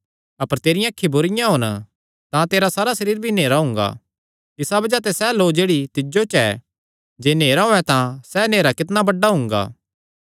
अपर तेरियां अखीं बुरिआं होन तां तेरा सारा सरीर भी नेहरा हुंगा इसा बज़ाह ते सैह़ लौ जेह्ड़ी तिज्जो च ऐ जे नेहरा होयैं तां सैह़ नेहरा कितणा बड्डा हुंगा